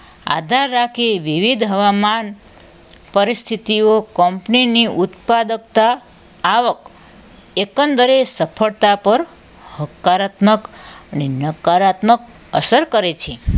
આધાર રાખે વિવિધ હવામાન પરિસ્થિતિઓ કંપનીની ઉત્પાદકતા આવક એ પણ દરેક સફળતા પર હકારાત્મક અને નકારાત્મક અસર કરે છે